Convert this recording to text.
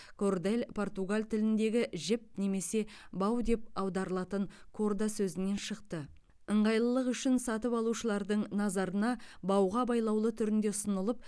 кордель португал тіліндегі жіп немесе бау деп аударылатын корда сөзінен шықты ыңғайлық үшін сатып алушылардың назарына бауға байлаулы түрінде ұсынылып